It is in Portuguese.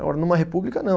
Agora, numa república, não.